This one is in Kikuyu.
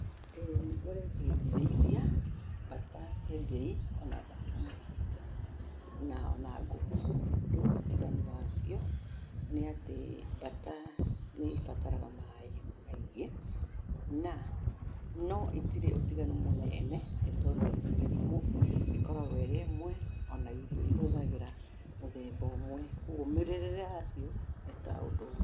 ĩĩ nĩ ngoretwo ngĩrĩithia mbata kĩengei ona mbata mũcinga na ona ngũkũ rĩu ũtiganu wacio nĩ atĩ mbata nĩ ĩbataraga maĩ maingĩ, na, no itirĩ ũtiganu mũnene nĩ tondũ mĩrimũ ĩkoragwo ĩrĩ ĩmwe ona irio ihũthagĩra mũthemba ũmwe, koguo mĩrerere yacio nĩ ta ũndũ ũmwe.